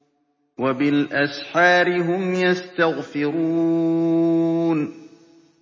وَبِالْأَسْحَارِ هُمْ يَسْتَغْفِرُونَ